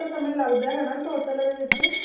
ਸਮੇਂ ਲੱਗਦਾ ਹਨਾ total ਇਹਦੇ ਵਿੱਚ